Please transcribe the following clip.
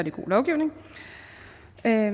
er